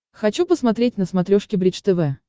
хочу посмотреть на смотрешке бридж тв